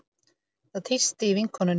Það tísti í vinkonunni.